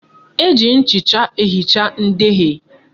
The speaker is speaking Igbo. Eji nchịcha ehicha ndeghie